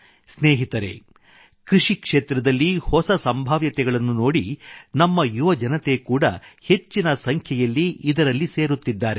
ಸ್ನೇಹಿತರೆ ಕೃಷಿ ಕ್ಷೇತ್ರದಲ್ಲಿ ಹೊಸ ಸಂಭಾವ್ಯತೆಗಳನ್ನು ನೋಡಿ ನಮ್ಮ ಯುವ ಜನತೆ ಕೂಡಾ ಹೆಚ್ಚಿನ ಸಂಖ್ಯೆಯಲ್ಲಿ ಇದರಲ್ಲಿ ಸೇರುತ್ತಿದ್ದಾರೆ